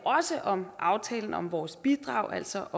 også om aftalen om vores bidrag altså